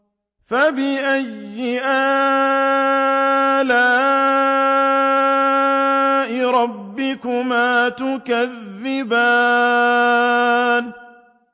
فَبِأَيِّ آلَاءِ رَبِّكُمَا تُكَذِّبَانِ